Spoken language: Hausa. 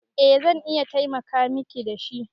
Eh zan iya taimaka Miki da shi.